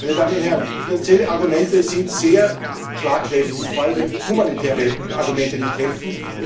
Meine Damen und Herren, finanzielle Argumente sind sehr schlagkräftig, vor allem wenn humanitäre Argumente nicht helfen.